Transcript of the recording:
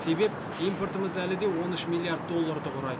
себеп импортымыз әлі де он үш миллиард долларды құрайды